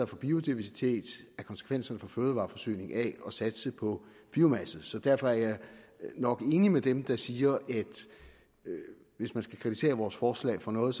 for biodiversitet af konsekvenserne for fødevareforsyning af at satse på biomasse så derfor er jeg nok enig med dem der siger at hvis man skal kritisere vores forslag for noget